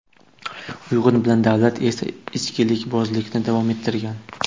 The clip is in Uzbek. Uyg‘un bilan Davlat esa, ichkilikbozlikni davom ettirgan.